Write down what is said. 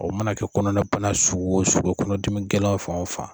O mana kɛ kɔnɔna bana sugu o sugu ye kɔnɔdigɛlɛn fan o fan